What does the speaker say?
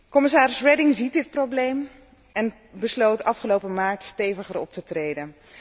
Commissaris Reding ziet dit probleem en besloot afgelopen maart steviger op te treden.